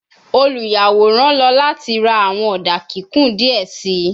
Oluyaworan lọ lati ra awọn oda kikun diẹ sii